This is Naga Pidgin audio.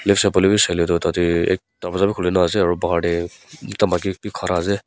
sailae tho tate ek tarvaja bi kulina ase aro bahar dae ekta maiki bi khara ase.